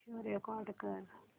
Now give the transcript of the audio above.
show record कर